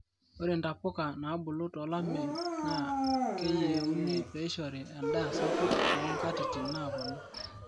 ore ntapuka naabulu tolomeyu naa keyieni peishoru endaa sapuk too nkatitin naaponu